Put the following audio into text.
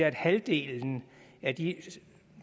at halvdelen af de